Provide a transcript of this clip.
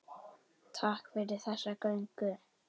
Takk fyrir þessa göngu.